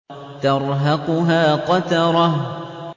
تَرْهَقُهَا قَتَرَةٌ